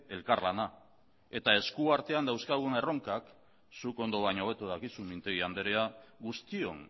elkarlana eta esku artean dauzkagun erronkak zuk ondo baino hobeto dakizu mintegi andrea guztion